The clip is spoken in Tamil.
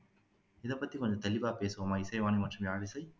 இதை பத்தி கொஞ்சம் தெளிவா பேசுவோமா இசைவாணி மற்றும் யாழிசை